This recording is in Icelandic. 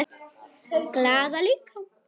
Glaða líka.